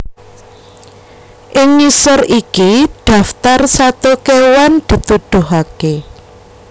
Ing ngisor iki daftar sato kéwan dituduhaké